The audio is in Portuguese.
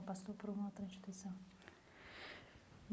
Ou passou por uma outra instituição?